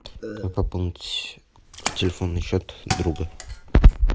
как пополнить телефонный счет друга